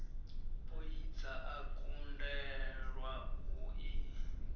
poidza o kundelwa u i